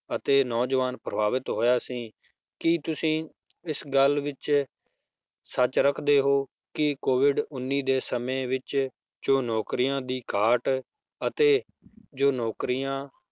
ਅਤੇ ਨੌਜਵਾਨ ਪ੍ਰਭਾਵਿਤ ਹੋਇਆ ਸੀ ਕੀ ਤੁਸੀਂ ਇਸ ਗੱਲ ਵਿੱਚ ਸੱਚ ਰੱਖਦੇ ਹੋ ਕਿ COVID ਉੱਨੀ ਦੇ ਸਮੇਂ ਵਿੱਚ ਜੋ ਨੌਕਰੀਆਂ ਦੀ ਘਾਟ ਅਤੇ ਜੋ ਨੌਕਰੀਆਂ